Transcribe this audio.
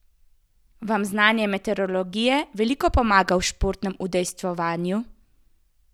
Vam znanje meteorologije veliko pomaga v športnem udejstvovanju?